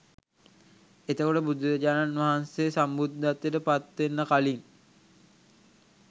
එතකොට බුදුරජාණන් වහන්සේ සම්බුද්ධත්වයට පත්වෙන්න කලින්